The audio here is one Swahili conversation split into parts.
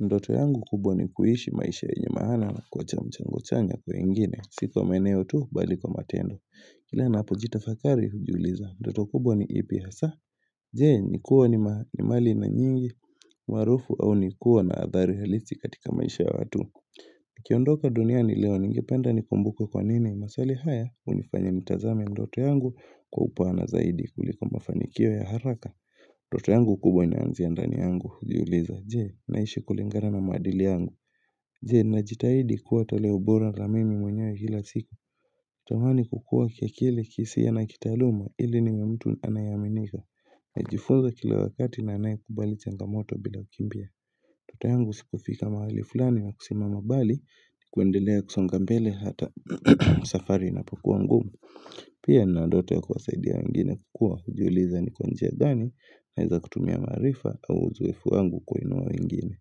Ndoto yangu kubwa ni kuishi maisha yenye maana kuwacha mchango chanya kwa wengine, sio kwa maeneo tu bali kwa matendo. Kile napojitafakari hujiuliza, ndoto kubwa ni ipi hasa, jee, nikuwa ni mali na nyingi, umaarufu au ni kuwa na athari halisi katika maisha ya watu. Nikiondoka duniani leo ningependa nikumbukwe kwa nini, maswali haya, hunifanya nitazame ndoto yangu kwa upana zaidi kuliko mafanikio ya haraka. Ndoto yangu kubwa inaanzia ndani yangu, hujiuliza, je, naishi kulingana na maadili yangu Je, najitaidi kuwa toleo bora la mimi mwenye kila siku tamani kukua kiakili kihisia na kitaaluma ili niwe mtu anayeaminika Najifunza kila wakati na anaye kubali changa moto bila kumbia Ndoto yangu si kufika mahali fulani na kusimama bali, kuendelea kusonga mbele hata safari inapokua ngumu Pia nina ndoto ya kuwasaidia wengine kukua hujiuliza ni kwa njia gani, naeza kutumia maarifa au uzoefu wangu kuinua wengine.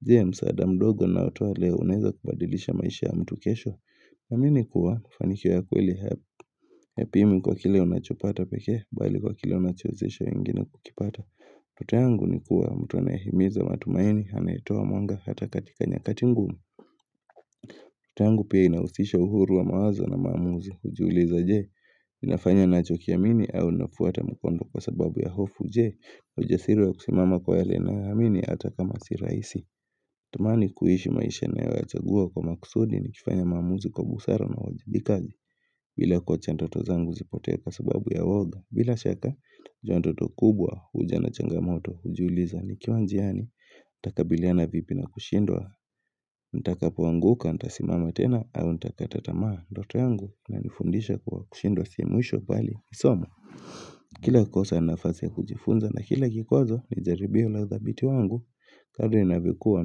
Je msaada mdogo naotoa leo unaeza kubadilisha maisha ya mtu kesho. Naamini kuwa, mafanikio ya kweli hayapimwi kwa kile unachopata pekee, bali kwa kile unachowezesha wengine kukipata. Ndoto yangu ni kuwa, mtu anayehimiza matumaini, anayetoa mwanga hata katika nyakati ngumu. Ndoto yangu pia inahusisha uhuru wa mawazo na maamuzi hujiuliza je. Nafanya nachokiamini au nafuata mkondo kwa sababu ya hofu je ujasiri wa kusimama kwa yale nayoamini ata kama si raisi Tumani kuishi maisha inayoyachagua kwa makusudi nikifanya maamuzi kwa busara na uwajibikaji bila kuwacha ndoto zangu zipotee kwa sababu ya woga bila shaka, jua ndoto kubwa huja na changamoto hujiuliza nikiwa njiani Takabiliana vipi na kushindwa Ntaka poanguka, ntasimama tena au ntakata tamaa ndote yangu ina nifundisha kuwa kushindwa si mwisho bali ni somo kila kosa ni nafasi ya kujifunza na kila kikwazo ni jaribio la udhabiti wangu kadri navyokuwa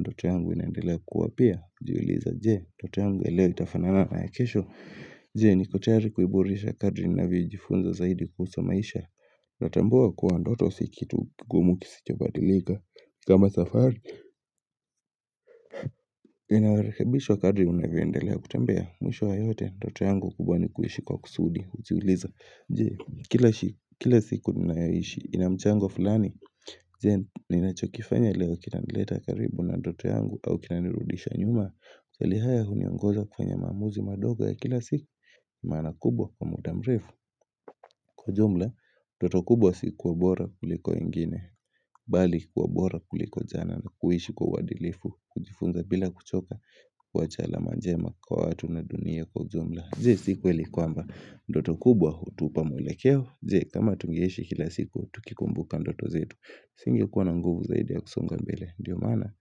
ndoto yangu inaendelea kuwa pia hujiuliza je ndoto yangu ya leo itafanana na ya kesho je niko tayari kuiboresha kadri navyojifunza zaidi kuhusu maisha Natambua kuwa ndoto si kitu kigumu kisichobadilika kama safari inarekebishwa kadri unavyoendelea kutembea mwisho wa yote ndoto yangu kubwa ni kuishi kwa kusudi Hujiuliza Je, kila siku ninayoishi ina mchango fulani Je, ninachokifanya leo Kinanileta karibu na ndoto yangu au kinanirudisha nyuma maswali haya huniongoza kufanya maamuzi madogo ya kila siku Maana kubwa kwa muda mrefu Kwa jumla, ndoto kubwa si kuwa bora kuliko wengine Bali kuwa bora kuliko jana na kuishi kwa uadilifu kujifunza bila kuchoka kuwacha alama njema kwa watu na dunia kwa jumla Je, si kweli kwamba ndoto kubwa hutupa mwelekeo je kama tungeishi kila siku tukikumbuka ndoto zetu singekuwa na nguvu zaidi ya kusonga mbele ndio maana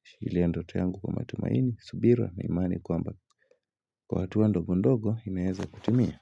hushikilia ndoto yangu kwa matumaini subira na imani kwamba kwa hatua ndogo ndogo inaeza kutimia.